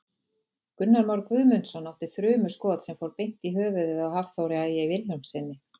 Gunnar Már Guðmundsson átti þrumuskot sem fór beint í höfuðið á Hafþóri Ægi Vilhjálmssyni.